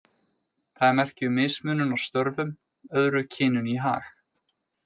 Það er merki um mismunun á störfum, öðru kyninu í hag.